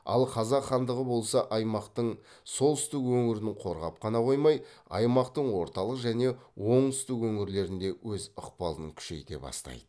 ал қазақ хандығы болса аймақтың солтүстік өңірін қорғап қана қоймай аймақтың орталық және оңтүстік өңірлерінде өз ықпалын күшейте бастайды